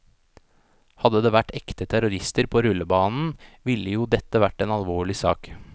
Hadde det vært ekte terrorister på rullebanen, ville jo dette vært en alvorlig sak.